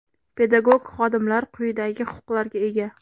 Pedagog xodimlar quyidagi huquqlarga ega:.